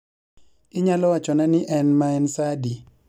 Inyalo wachona ni en maen saa adi